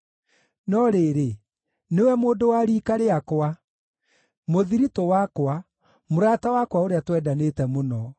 No rĩrĩ, nĩwe mũndũ wa riika rĩakwa, mũthiritũ wakwa, mũrata wakwa ũrĩa twendanĩte mũno,